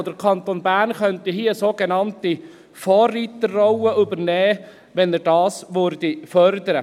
Der Kanton Bern könnte hier eine sogenannte Vorreiterrolle übernehmen, wenn er dies fördern würde.